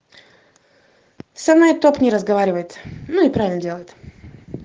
самая топ не разговаривает ну и правильно делает